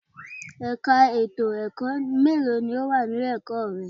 Ẹ̀ka ètò ẹ̀kọ́ mélòó ni ó wà ní ilé-ẹ̀kọ́ rẹ?